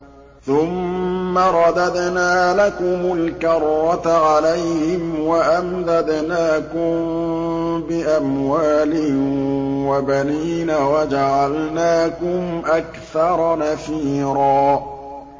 ثُمَّ رَدَدْنَا لَكُمُ الْكَرَّةَ عَلَيْهِمْ وَأَمْدَدْنَاكُم بِأَمْوَالٍ وَبَنِينَ وَجَعَلْنَاكُمْ أَكْثَرَ نَفِيرًا